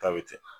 Ta bɛ kɛ